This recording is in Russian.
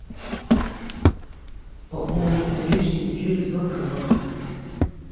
пополнить наличными через банкомат